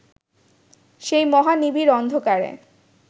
সেই মহা নিবিড় অন্ধকারে